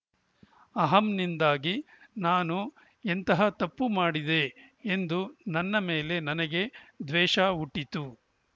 ಅಹಂನಿಂದಾಗಿ ನಾನು ಎಂತಹ ತಪ್ಪು ಮಾಡಿದೆ ಎಂದು ನನ್ನ ಮೇಲೆ ನನಗೆ ದ್ವೇಷ ಹುಟ್ಟಿತು